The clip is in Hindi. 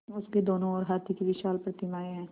उसके दोनों ओर हाथी की विशाल प्रतिमाएँ हैं